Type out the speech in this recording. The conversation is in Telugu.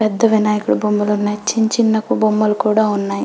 పెద్ద వినాయక బొమ్మలు ఉన్నాయి చిన్నచిన్న బొమ్మలు కూడా ఉన్నాయి.